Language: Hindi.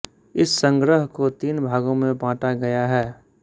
इस संग्रह को तीन भागों में बाँटा गया है